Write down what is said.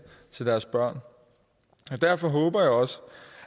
til deres børn derfor håber jeg også